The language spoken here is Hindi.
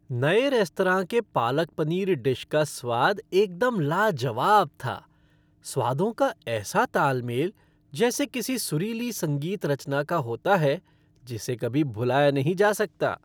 नए रेस्तरां के पालक पनीर डिश का स्वाद एकदम लाजवाब था, स्वादों का ऐसा ताल मेल जैसे किसी सुरीली संगीत रचना का होता है जिसे कभी भुलाया नहीं जा सकता।